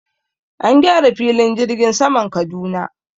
An gyara filin jirgin saman Kaduna.